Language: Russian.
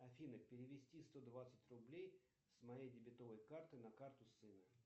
афина перевести сто двадцать рублей с моей дебетовой карты на карту сыну